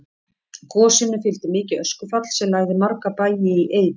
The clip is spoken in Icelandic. Gosinu fylgdi mikið öskufall sem lagði marga bæi í eyði.